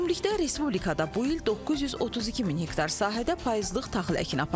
Ümumilikdə respublikada bu il 932 min hektar sahədə payızlıq taxıl əkini aparılıb.